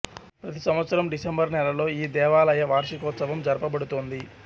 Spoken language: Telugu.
ప్రతి సంవత్సరం డిసెంబరు నెలలో ఈ దేవాలయ వార్షికోత్సవం జరుపబడుతోంది